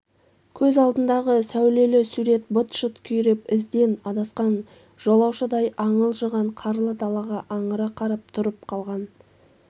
көз алдындағы сәулел сурет быт-шыт күйреп ізден адасқан жолаушыдай аңылжыған қарлы далаға аңыра қарап тұрып қалған